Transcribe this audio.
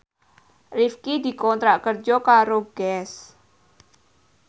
Rifqi dikontrak kerja karo Guess